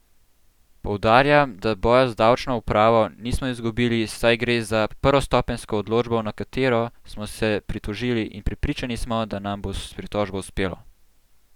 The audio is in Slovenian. Poudarjam, da boja z davčno upravo nismo izgubili, saj gre za prvostopenjsko odločbo, na katero smo se pritožili, in prepričani smo, da nam bo s pritožbo uspelo!